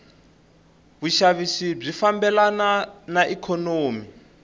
vushavisi bwifambelana naiknonomi